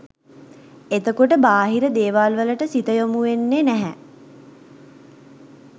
එතකොට බාහිර දේවල් වලට සිත යොමුවෙන්නෙ නැහැ